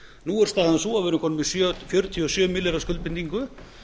nú er staðan sú að við erum komin með fjörutíu og sjö milljarða skuldbindingu